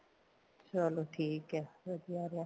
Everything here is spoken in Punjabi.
ਚਲੋ ਠੀਕ ਏ ਵਧੀਆ ਰਿਹਾ